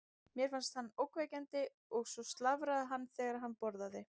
Mér fannst hann ógnvekjandi og svo slafraði hann þegar hann borðaði.